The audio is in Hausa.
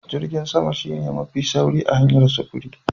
Jirgin sama shine mafi sauri hanyar sufuri.